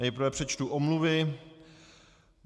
Nejprve přečtu omluvy.